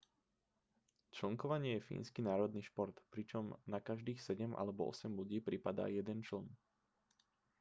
člnkovanie je fínsky národný šport pričom na každých sedem alebo osem ľudí pripadá jeden čln